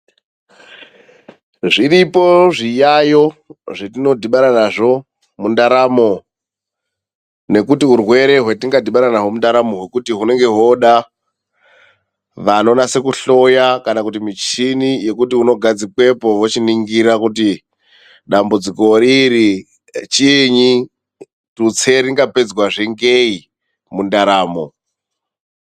Zviripo zviyayo zvetinodhibana nazvo mundaramo, nokuti urwere hwetingadhibana nahwo mundaramo hwekuti hunenge hwoda vanonasa kuhloya kana kuti muchini yokuti unogadzikwepo ,wochoningira kuti dambudziko riri chiinyi? Tutse ringa pedzwazve ngei mundaramo.